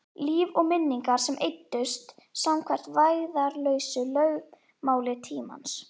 Líf og minningar sem eyddust samkvæmt vægðarlausu lögmáli tímans.